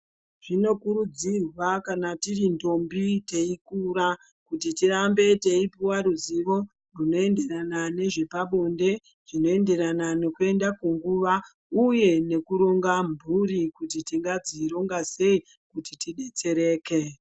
Zvinokurudzirwa kana tiri ndombi teikura kuti tirambe teipuwa ruzivo rinoenderana nezvepabonde zvinoenderana nekuenda kunguva uye nekuronga mburi kuti tingadzironga sei kuti tidetsereke.